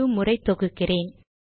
இரு முறை தொகுக்கிறேன்